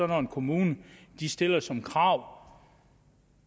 når en kommune stiller som krav